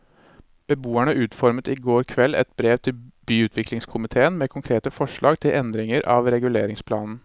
Beboerne utformet i går kveld et brev til byutviklingskomitéen med konkrete forslag til endringer av reguleringsplanen.